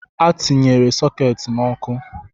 A tinyere sokeeti n’ọkụ